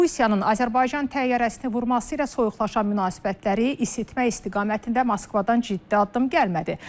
Rusiyanın Azərbaycan təyyarəsini vurması ilə soyuqlayan münasibətləri isitmək istiqamətində Moskvadan ciddi addım gəlmədi.